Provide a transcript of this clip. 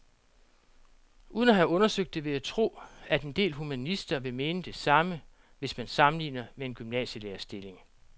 Uden at have undersøgt det vil jeg tro, at en del humanister vil mene det samme, hvis man sammenligner med en gymnasielærerstilling.